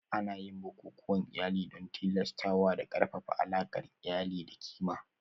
Ana yin bukukuwan iyali don tilastawa da ƙarfafa alaƙar iyali da ƙima